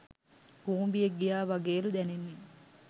කූඹියෙක් ගියා වගේලු දැනෙන්නේ